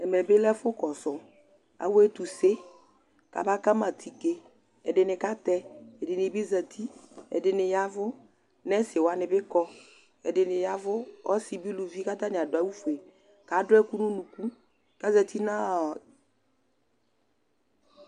ɛmɛ bi lɛ ɛfu kɔsu awu ɛtuse ka na kama atike, ɛdini katɛ, ɛdini bi zati, ɛdini yavu, nɛsi wʋani bi kɔ, ɛdini yavu ɔsi bi uluvi ku ata ni adu awu fue, ku adu ɛku nu unuku ku ayati nɔɔɔ